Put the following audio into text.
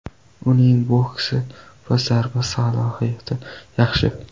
Uning boksi va zarba salohiyati yaxshi.